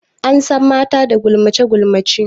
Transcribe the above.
An san mata da gulmace gulmace.